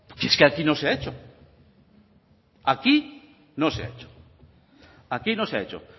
es que aquí no se ha hecho